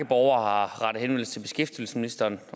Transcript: borgere har rettet henvendelse til beskæftigelsesministeren